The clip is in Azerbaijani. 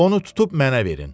onu tutub mənə verin.